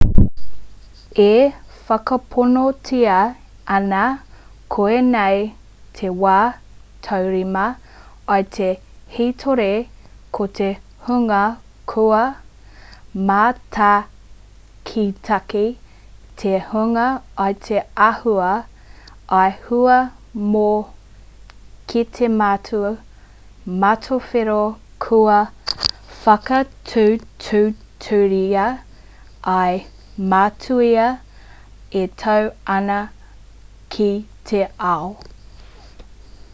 e whakaponotia ana koinei te wā tuarima i te hītori ko te hunga kua mātakitaki te hunga i te āhua i hua mai ko te matū matawhero kua whakatūturutia ā-matūtia e tau ana ki te ao